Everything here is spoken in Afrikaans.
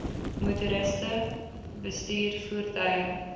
motoriste bestuur voertuie